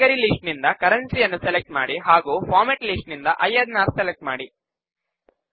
category list ನಿಂದ ಕರೆನ್ಸಿಯನ್ನು select ಮಾಡಿ ಮತ್ತು ಫಾರ್ಮೆಟ್ ಲಿಸ್ಟ್ ನಿಂದ ಐಎನ್ಆರ್ ಸೆಲೆಕ್ಟ್ ಮಾಡಿ